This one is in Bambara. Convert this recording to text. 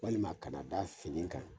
Walima a kana da fini kan